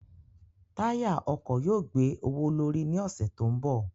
Táyà ọkọ̀ yóò gbé owó l'órí ní ọ̀sẹ̀ tó ń bọ̀.